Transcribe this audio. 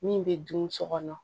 Min bɛ dun so kɔnɔ